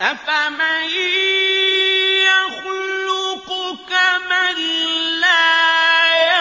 أَفَمَن يَخْلُقُ كَمَن لَّا